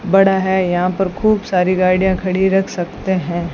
बड़ा है यहां पर खूब सारी गाड़ियां खड़ी रख सकते हैं।